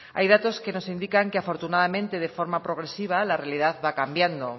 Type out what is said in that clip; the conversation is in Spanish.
hay datos que nos indican que afortunadamente de forma progresiva la realidad va cambiando